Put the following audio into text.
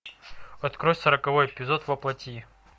открой сороковой эпизод воплоти